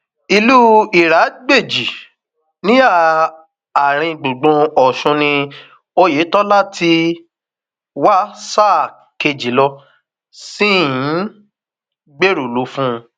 ìlú iragbéjì níhà um àáríngbùngbùn ọsùn ni oyetola ti um wá sáà kejì ló sì ń gbèrò láti lò fún